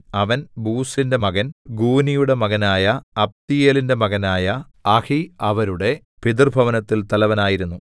അവൻ ബൂസിന്റെ മകൻ ഗൂനിയുടെ മകനായ അബ്ദീയേലിന്റെ മകനായ അഹി അവരുടെ പിതൃഭവനത്തിൽ തലവനായിരുന്നു